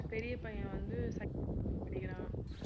பெரிய பையன் வந்து படிக்கிறான்